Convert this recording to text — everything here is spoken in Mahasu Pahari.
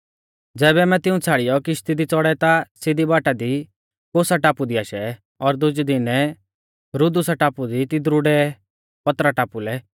ज़ैबै आमै तिऊं छ़ाड़ियौ किश्ती दी च़ौड़ै ता सिधी बाटा दी कोसा टापु दी आशै और दुजै दिनै रुदुसा टापु दी तिदरु डै पतरा टापु लै